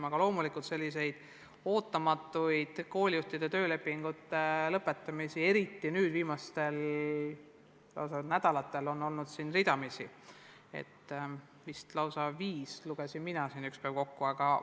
Aga jah, selliseid ootamatuid koolijuhtide töölepingute lõpetamisi on eriti viimastel nädalatel on ridamisi – vist lausa viis, nagu ma ükspäev kokku lugesin.